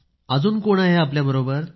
अजून कोण आहे आपल्या बरोबर